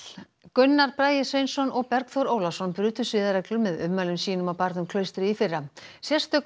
Gunnar Bragi Sveinsson og Bergþór Ólason brutu siðareglur með ummælum sínum á barnum Klaustri í fyrra sérstök